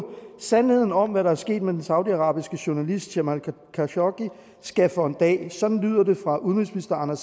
sandheden om hvad der er sket med den saudiarabiske journalist jamal khashoggi skal for en dag sådan lyder det fra udenrigsministeren